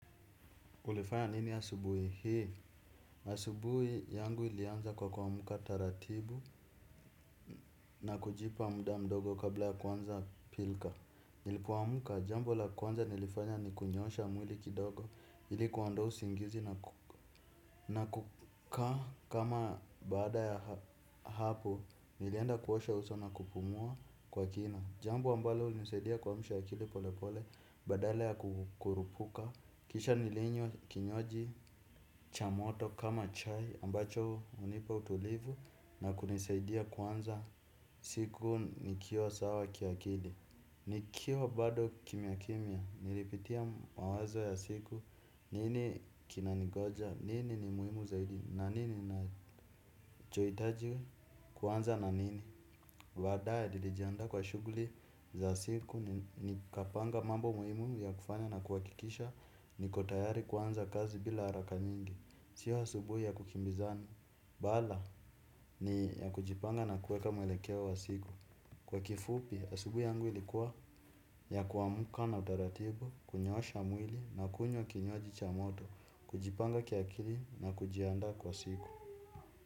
Ulifanya nini asubuhi hii? Asubuhi yangu ilianza kwa kuamka taratibu na kujipa muda mdogo kabla ya kuanza pilka. Nilipoamka, jambo la kwanza nilifanya ni kunyoosha mwili kidogo ili kuondoa usingizi na kukaa baada ya hapo, nilienda kuosha uso na kupumua kwa kina. Jambo ambalo ulinisaidia kuamsha akili polepole badala ya kurupuka kisha nilinywa kinywaji cha moto kama chai ambacho hunipa utulivu na kunisaidia kuanza siku nikiwa sawa kiakili. Nikiwa bado kimya kumya nilipitia mawazo ya siku, nini kinaningoja, nini ni muhimu zaidi na nini nachohitaji kuanza na nini. Baadae nilijiandaa kwa shughuli za siku nikapanga mambo muhimu ya kufanya na kuhakikisha niko tayari kuanza kazi bila haraka nyingi. Sio asubuhi ya ku kimbizana bala ni ya kujipanga na kuweka maelekeo ya siku. Kwa kifupi, asubuhi yangu ilikuwa ya kuamka na taratibu, kunyoosha mwili na kunywa kinywaji cha moto, kujipanga kiakili na kujiandaa kwa siku.